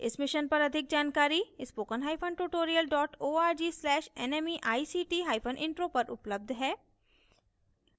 इस mission पर अधिक जानकारी spoken hyphen tutorial dot org slash nmeict hyphen intro पर उपलब्ध है